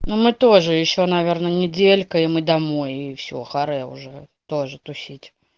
ну мы тоже ещё наверное неделька и мы домой и все харе уже тоже тусить